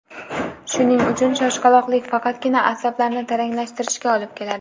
Shuning uchun shoshqaloqlik faqatgina asablarni taranglashtirishga olib keladi.